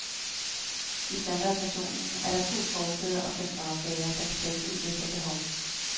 I standardversionen er der to forsæder og fem bagsæder, der kan tages ud efter behov.